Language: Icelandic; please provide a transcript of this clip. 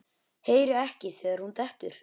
Heyri ekki þegar hún dettur.